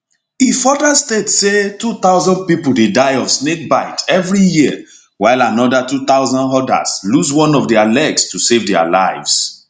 e further state say 2000 pipo dey die of snakebite everi year while anoda 2000 odas lose one of dia legs to save dia lives